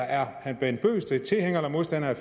er herre bent bøgsted tilhænger eller modstander